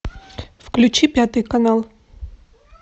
включи пятый канал